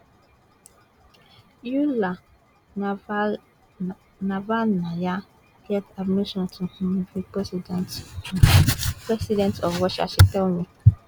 yulia navalnaya get ambition to um be um president um president of russia she tell me